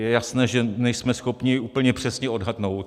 Je jasné, že nejsme schopni úplně přesně odhadnout.